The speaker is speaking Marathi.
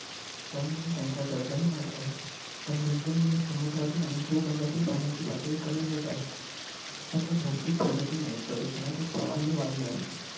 त्यामुळे त्यांचा खर्चही वाढत आहे. पण दिवसेंदिवस समुद्रातील आणि भूभागातील पाण्याची पातळी कमी होत आहे. राष्ट्राच्या भौतिक प्रगतीमुळे प्रदूषणाचे प्रमाणही वाढले आहे.